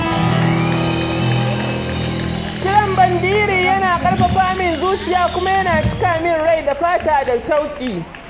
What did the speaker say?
Kiɗan bandiri yana ƙarfafa min zuciyata kuma yana cika min rai da fata da shauƙi.